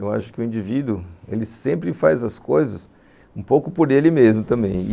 Eu acho que o indivíduo sempre faz as coisas um pouco por ele mesmo também.